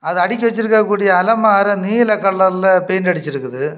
அத அடுக்கி வெச்சிருக்க கூடிய அலமார நீல கலர்ல பெயிண்ட் அடிச்சிருக்குது.